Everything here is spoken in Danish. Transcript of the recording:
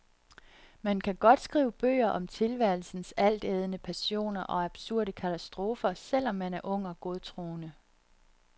Man kan godt skrive bøger om tilværelsens altædende passioner og absurde katastrofer selv om man er ung og godtroende.